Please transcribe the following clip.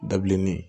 Dabilennin